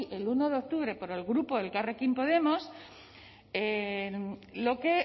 el uno de octubre por el grupo elkarrekin podemos lo que